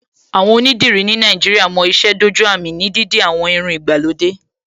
Àwọn onídìrí ní Nàìjíríà mo ìṣe dójú àmì ní dídi àwọn irun ìgbàlódé